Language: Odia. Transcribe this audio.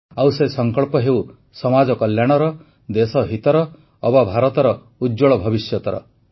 ଆଉ ସେ ସଂକଳ୍ପ ହେଉ ସମାଜ କଲ୍ୟାଣର ଦେଶ ହିତର ଅବା ଭାରତର ଉଜ୍ଜ୍ୱଳ ଭବିଷ୍ୟତର